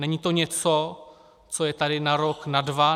Není to něco, co je tady na rok, na dva.